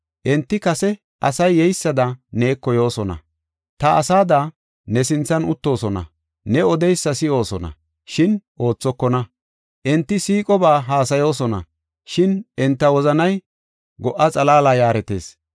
Enti kase asay yeysada neeko yoosona; ta asada ne sinthan uttoosona; ne odeysa si7oosona; shin oothokona. Enti siiqoba haasayoosona; shin enta wozanay go77a xalaala yaaretees.